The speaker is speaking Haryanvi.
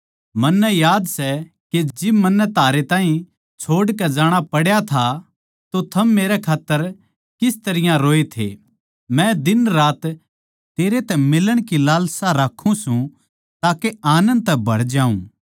मन्नै याद सै के जिब मन्नै थारे ताहीं छोड़ कै जाणा पड़ा था तो थम मेरे खात्तर किस तरियां रोए थे मै दिनरात तेरै तै मिलण की लालसा राक्खूँ सूं ताके आनन्द तै भर जाऊँ